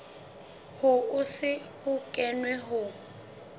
ho se ho kenwe ho